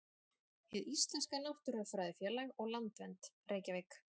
Hið íslenska náttúrufræðifélag og Landvernd, Reykjavík.